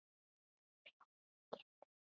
Rjóður í kinnum.